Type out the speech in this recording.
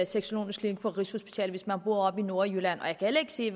sexologisk klinik på rigshospitalet hvis man bor oppe i nordjylland og jeg kan heller ikke se